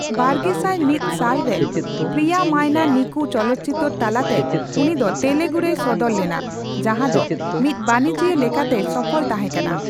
ᱵᱟᱨᱜᱮᱥᱟᱭ ᱢᱤᱛ ᱥᱟᱞᱨᱮ ᱯᱨᱤᱭᱟᱢᱟᱭᱱᱟ ᱱᱤᱠᱩ ᱪᱚᱞᱚᱛᱪᱤᱛᱟᱹᱨ ᱛᱟᱞᱟᱛᱮ ᱩᱱᱤ ᱫᱚ ᱛᱮᱞᱮᱜᱩ ᱨᱮᱭ ᱥᱚᱫᱚᱨ ᱞᱮᱱᱟ, ᱡᱟᱸᱦᱟ ᱫᱚ ᱢᱤᱫ ᱵᱟᱹᱱᱤᱡᱤᱭᱟᱹ ᱞᱮᱠᱟᱛᱮᱭ ᱥᱚᱯᱷᱚᱞ ᱛᱟᱸᱦᱮᱠᱟᱱᱟ ᱾